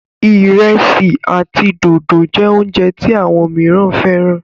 iresi àti dòdo jé oúnjẹ tí àwọn míràn féràn.